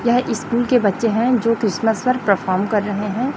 यह स्कूल के बच्चे हैं जो क्रिसमस पर परफार्म कर रहे हैं।